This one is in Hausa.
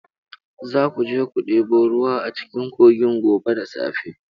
Za ku je ku ɗebo ruwa a cikin kogin gobe da safe.